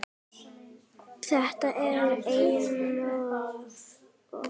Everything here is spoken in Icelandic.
Þetta er einum of,